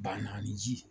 Banna ni ji